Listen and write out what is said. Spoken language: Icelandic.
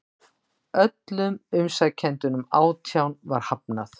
Öllum umsækjendunum átján var hafnað